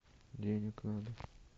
денег надо